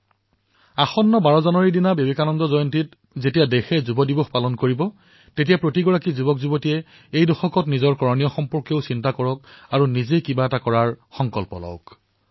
অহা ১২ জানুৱাৰীত অনুষ্ঠিত হবলগীয়া বিবেকানন্দ জয়ন্তীত যেতিয়া দেশে যুৱদিৱস পালন কৰিব তেতিয়া প্ৰত্যেক তৰুণে এই দশকত নিজৰ দায়িত্ব সম্পৰ্কেও চিন্তা কৰক আৰু এই দশকৰ বাবে নিশ্চিতভাৱে কোনো সংকল্প গ্ৰহণ কৰক